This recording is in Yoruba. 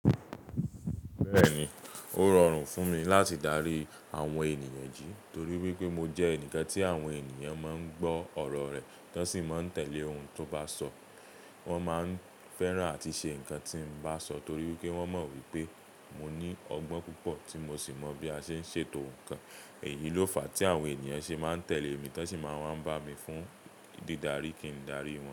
Bẹ́ẹ̀ni, ó rọrùn fún mi láti dárí àwọn ènìyàn jí torí wípé mo jẹ́ ẹnìkan tí àwọn ènìyàn máa ń gbọ́ ọ̀rọ̀ rẹ̀, tan sì máa ń tẹ̀lé ohun tó bá sọ. Wọn máa ń fẹ́ràn àti ṣe nǹkan tí n bá sọ torí wípé wón mọ̀ wípé mo ní ọgbọ́n púpọ̀ tí mo sì mọ bí a ṣe ń ṣètò ǹkan. Èyí ló fà tí àwọn ènìyàn ṣe máa ń tẹ̀lé mi, wón sì máa ń bá mi fún dídarí kí n darí wọn.